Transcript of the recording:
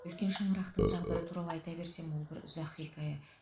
үлкен шаңырақтың тағдыры туралы айта берсем ол бір ұзақ хикая